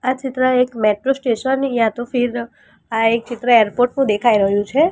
આ એક ચિત્ર મેટ્રો સ્ટેશન યા તો ફિર આ એક ચિત્ર એરપોર્ટ નું દેખાઈ રહ્યું છે.